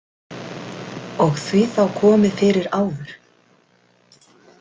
Og því þá komið fyrir áður?